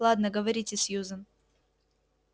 ладно говорите сьюзен